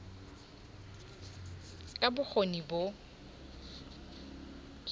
ka b o kgoni bo